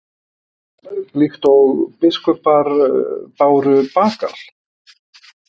Líkt og biskupar báru bagal?